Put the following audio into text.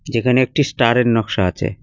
যেখানে একটি স্টারের নক্সা আছে।